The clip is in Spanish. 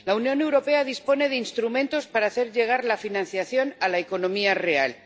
La Unión Europea dispone de instrumentos para hacer llegar la financiación a la economía real.